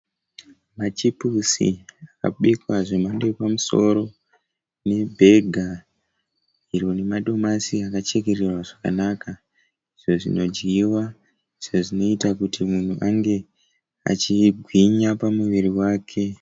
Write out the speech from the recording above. Machipusi akabikwa zvemhando yepamusoro nebhega rinemadomasi akachekererwa zvakanaka. Zvinodyiwa zvinoita kuti munhu ange achigwinya pamuviri wake.